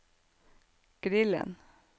grillen